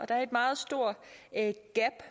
er et meget stort gab